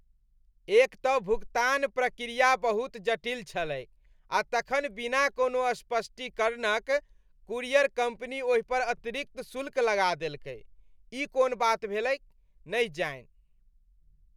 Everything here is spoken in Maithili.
एक तँ भुगतान प्रक्रिया बहुत जटिल छलैक, आ तखन बिना कोनो स्पष्टीकरणक कूरियर कंपनी ओहिपर अतिरिक्त शुल्क लगा देलकै, ई कोन बात भेलैक, नहि जानि?